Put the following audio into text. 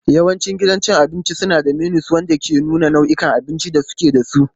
Yawancin gidajen cin abinci suna da menus wanda ke nuna nau'ikan abincin da suke da su.